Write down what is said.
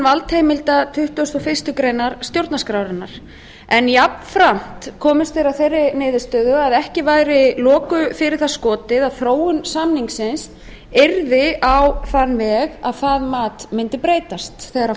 valdheimilda tuttugasta og fyrstu grein stjórnarskrárinnar en jafnframt komust þeir að þeirri niðurstöðu að ekki væri loku fyrir það skotið að þróun samningsins yrði á þann veg að það mundi breytast þegar